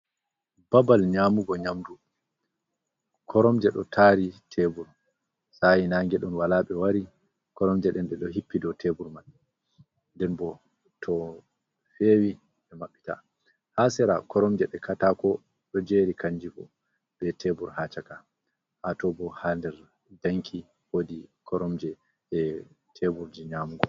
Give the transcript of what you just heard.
Babal nyamugo nyamdu koromje ɗo tari tebur sayi nangeɗon walaɓe wari, koromje ɗen ɗe ɗo hippi do tebur man nɗen bo to fewi ɓe maɓɓita hasera koromje nde kata ko ɗo jeri kanjibo be tebur ha caka, hato bo ha nder danki wodi koromje e teburje nyamugo.